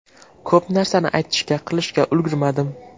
Ko‘p narsani aytishga, qilishga ulgurmadim.